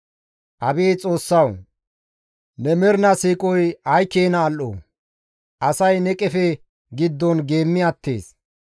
Abeet Xoossawu! Ne mernaa siiqoy ay keena al7o! Asay ne qefe giddon geemmi attees.